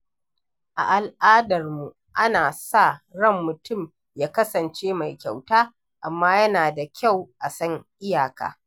A al’adarmu, ana sa ran mutum ya kasance mai kyauta, amma yana da kyau a san iyaka.